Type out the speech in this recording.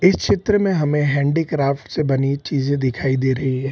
इस चित्र में हमे हेंडीक्राफ्ट से बनी चीजें दिखाई दे रही है।